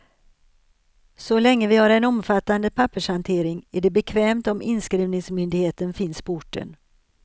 Så länge vi har en omfattande pappershantering är det bekvämt om inskrivningsmyndigheten finns på orten.